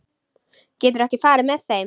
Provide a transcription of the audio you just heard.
Geturðu ekki farið með þeim?